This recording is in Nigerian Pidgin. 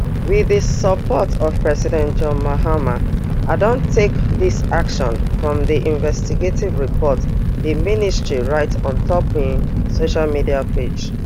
wit di support of president john mahama i don take dis action from di investigative report di ministry write on top im social media page